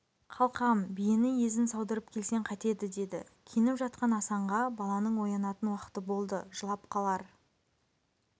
қалқам биені езін саудырып келсең қайтеді деді киініп жатқан асанға баланың оянатын уақыты болды жылап қалар